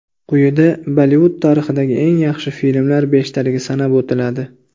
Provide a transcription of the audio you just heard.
Quyida Bollivud tarixidagi eng yaxshi filmlar beshtaligi sanab o‘tiladi.